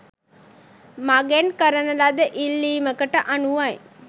මගෙන් කරන ලද ඉල්ලීමකට අනුවයි.